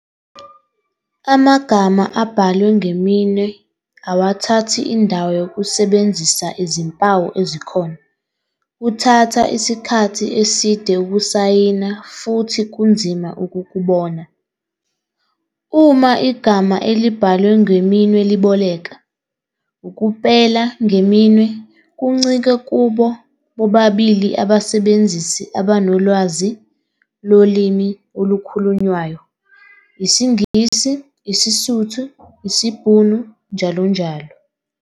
Amagama abhalwe ngeminwe awathathi indawo yokusebenzisa izimpawu ezikhona-kuthatha isikhathi eside ukusayina futhi kunzima ukukubona. Uma igama elibhalwe ngeminwe liboleka, ukupela ngeminwe kuncike kubo bobabili abasebenzisi abanolwazi lolimi olukhulunywayo, isiNgisi, iSotho, isiBhunu njll.